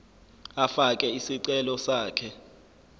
afake isicelo sakhe